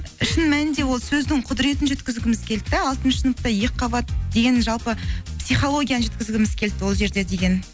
шын мәнінде ол сөздің құдыретін жеткізгіміз келді де алтыншы сыныпта екі қабат деген жалпы психологияны жеткізгіміз келді ол жерде деген